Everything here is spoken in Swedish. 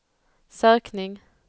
sökning